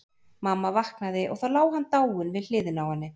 Mamma vaknaði og þá lá hann dáinn við hliðina á henni.